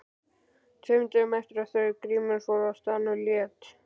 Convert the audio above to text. Tveimur dögum eftir að þau Grímur fóru frá staðnum lét